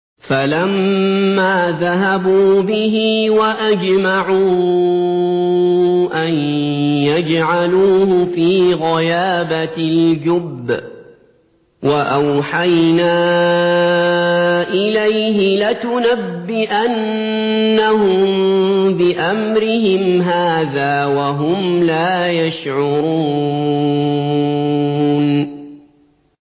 فَلَمَّا ذَهَبُوا بِهِ وَأَجْمَعُوا أَن يَجْعَلُوهُ فِي غَيَابَتِ الْجُبِّ ۚ وَأَوْحَيْنَا إِلَيْهِ لَتُنَبِّئَنَّهُم بِأَمْرِهِمْ هَٰذَا وَهُمْ لَا يَشْعُرُونَ